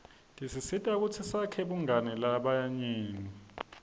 tisisita kutsi sakhe bungani nalabanye